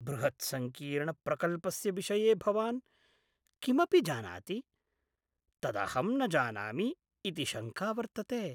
बृहत् सङ्कीर्ण प्रकल्पस्य विषये भवान् किमपि जानाति तदहं न जानामि इति शङ्का वर्तते।